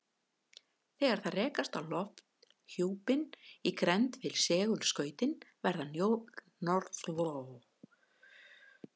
Þegar þær rekast á lofthjúpinn í grennd við segulskautin verða norðurljósin og suðurljósin til.